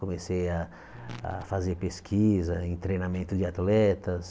Comecei a a fazer pesquisa em treinamento de atletas.